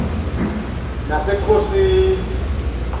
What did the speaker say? nasekhosini